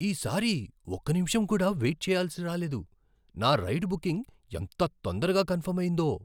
ఈ సారి ఒక నిముషం కూడా వెయిట్ చెయ్యాల్సి రాలేదు. నా రైడ్ బుకింగ్ ఎంత తొందరగా కన్ఫర్మ్ అయిందో!